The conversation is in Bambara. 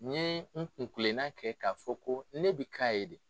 N ye n kun kilena kɛ k'a fɔ ko ne bɛ k'a ye de.